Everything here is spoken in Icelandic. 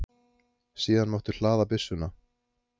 Síðan máttu hlaða byssuna.